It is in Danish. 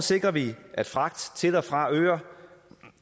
sikrer vi at fragt til og fra øer